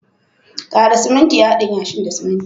Kara siminti a'hadin yashin da siminti.